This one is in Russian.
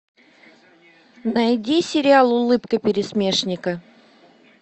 найди сериал улыбка пересмешника